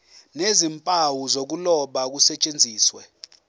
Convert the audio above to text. nezimpawu zokuloba kusetshenziswe